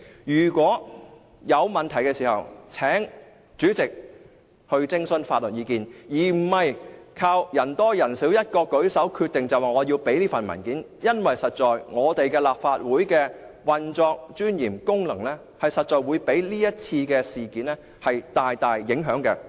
如果有問題，請主席徵詢法律意見，而不是靠人多人少舉手來決定我們要提供這些文件，因為立法會的運作、尊嚴和功能確實會被這次事件大大影響。